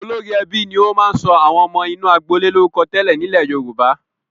Olórí ẹbí ni ó máa ń sọ àwọn ọmọ inú agboolé lórúkọ tẹ́lẹ̀ nílẹ̀ Yorùbá.